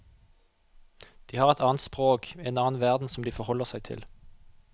De har et annet språk, en annen verden som de forholder seg til.